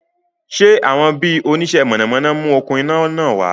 Sé àwọn bi oníṣe mọ̀nàmọ́ná mú okún iná náà wá?